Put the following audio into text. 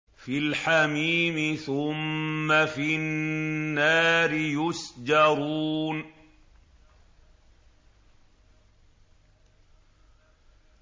فِي الْحَمِيمِ ثُمَّ فِي النَّارِ يُسْجَرُونَ